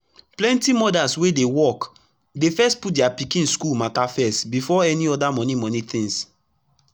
plenty mother's wey dey work dey first put dia pikin school mata first before any oda moni moni tins